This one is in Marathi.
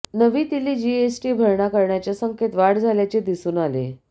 नवी दिल्ली जीएसटी भरणा करण्याच्या संख्येत वाढ झाल्याचे दिसून आले